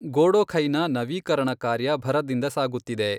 ಗೊಡೊಖೈನ ನವೀಕರಣ ಕಾರ್ಯ ಭರದಿಂದ ಸಾಗುತ್ತಿದೆ.